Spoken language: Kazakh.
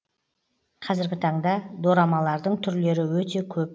қазіргі таңда дорамалардың түрлері өте көп